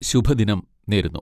ശുഭദിനം നേരുന്നു!